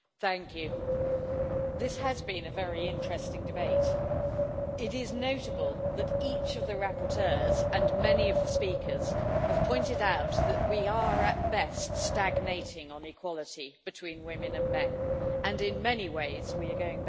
Mr President, this has been a very interesting debate. It is notable that each of the rapporteurs and many of the speakers have pointed out that we are at best stagnating on equality between women and men and, in many ways, we are going backwards.